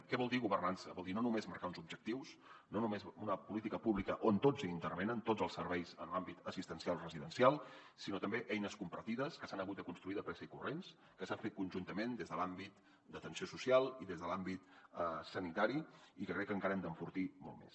què vol dir governança vol dir no només marcar uns objectius no només una política pública on tots hi intervenen tots els serveis en l’àmbit assistencial residencial sinó també eines compartides que s’han hagut de construir de pressa i corrents que s’han fet conjuntament des de l’àmbit d’atenció social i des de l’àmbit sanitari i que crec que encara hem d’enfortir molt més